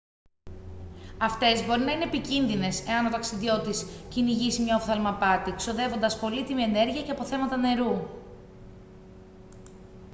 αυτές μπορεί να είναι επικίνδυνες εάν ο ταξιδιώτης κυνηγήσει μια οφθαλμαπάτη ξοδεύοντας πολύτιμη ενέργεια και αποθέματα νερού